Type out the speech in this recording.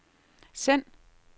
send